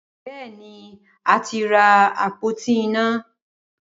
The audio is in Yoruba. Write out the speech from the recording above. Bẹẹni, a ti ra apoti ina.